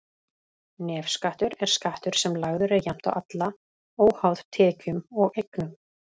Nefskattur er skattur sem lagður er jafnt á alla, óháð tekjum og eignum.